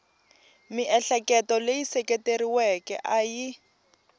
miehleketo leyi seketeriweke a yi